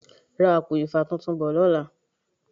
Ra àpò ifá tuntun bò lọ́la.